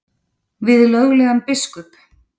Við löglegan biskup?